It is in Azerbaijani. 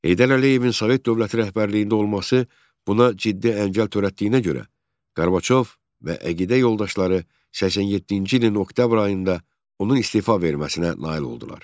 Heydər Əliyevin Sovet dövləti rəhbərliyində olması buna ciddi əngəl törətdiyinə görə Qarbaçov və əqidə yoldaşları 87-ci ilin oktyabr ayında onun istefa verməsinə nail oldular.